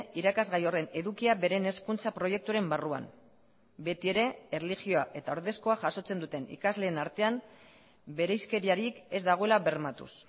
irakasgai horren edukia beren hezkuntza proiektuaren barruan beti ere erlijioa eta ordezkoa jasotzen duten ikasleen artean bereizkeriarik ez dagoela bermatuz